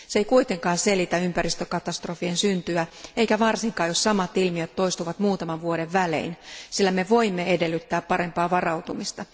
Se ei kuitenkaan selitä ympäristökatastrofien syntyä, eikä varsinkaan, jos samat ilmiöt toistuvat muutaman vuoden välein, sillä me voimme edellyttää parempaa varautumista.